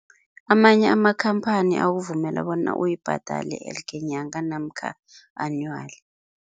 Amanye amakhamphani akuvumela bona uyibhadale elke nyanga namkha anually.